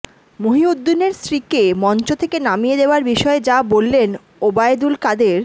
মহিউদ্দিনের স্ত্রীকে মঞ্চ থেকে নামিয়ে দেয়ার বিষয়ে যা বললেন ওবায়দুল কাদের